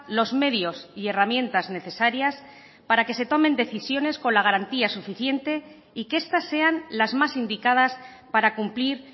los medios y herramientas necesarias para que se tomen decisiones con la garantía suficiente y que estas sean las más indicadas para cumplir